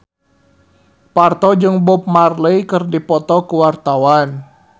Parto jeung Bob Marley keur dipoto ku wartawan